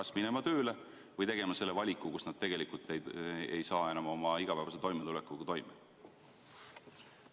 Kas minema tööle või tegema selle valiku, mille korral nad tegelikult ei saa enam oma igapäevase toimetulekuga hakkama?